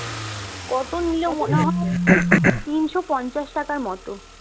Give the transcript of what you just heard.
কত নিলো মনে হয় তিনশো পঞ্চাশ টাকার মতো